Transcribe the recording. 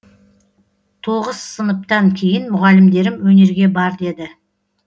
тоғыз сыныптан кейін мұғалімдерім өнерге бар деді